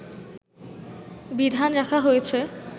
বিধান রাখা হয়েছে